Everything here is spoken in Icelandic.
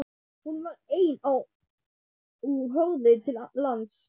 Hún var ein á og horfði til lands.